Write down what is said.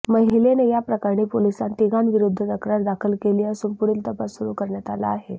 महिलेने या प्रकरणी पोलिसात तिघांविरुद्ध तक्रार दाखल केली असून पुढील तपास सुरू करण्यात आला आहे